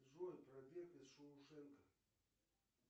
джой побег из шоушенка